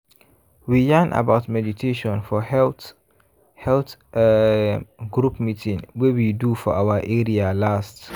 we yarn about meditation for health health um group meeting wey we do for our area last.